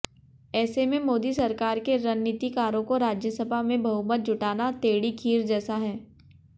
ऐसे में मोदी सरकार के रणनीतिकारों को राज्यसभा में बहुमत जुटाना टेढ़ी खीर जैसा है